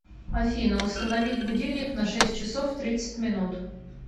афина установить будильник на шесть часов тридцать минут